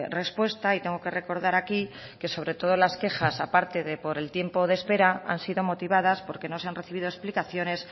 respuesta y tengo que recordar aquí que sobre todo las quejas aparte de por el tiempo de espera han sido motivadas porque no se han recibido explicaciones